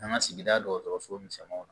An ka sigida dɔgɔtɔrɔso misɛnninw na